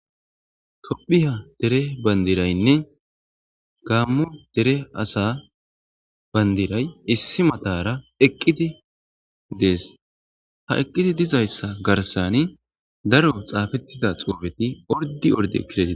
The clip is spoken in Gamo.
Tophiya dere bandiraynne gaammo dere asa bandiray issi matara eqqiti dees ha eqqiti dizayssa garsani daro xaafettida xoufeti ordi orde kidee